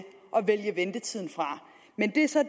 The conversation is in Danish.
vælge ventetiden fra men det er så